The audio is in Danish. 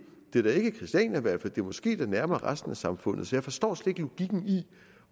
det er da ikke christiania måske er det nærmere resten af samfundet så jeg forstår slet ikke logikken i